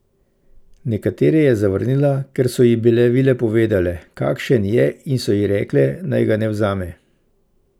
Nekatere je zavrnila, ker so ji bile vile povedale, kakšen je, in so ji rekle, naj ga ne vzame.